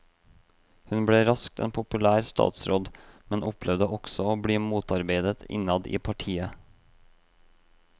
Hun ble raskt en populær statsråd, men opplevde også å bli motarbeidet innad i partiet.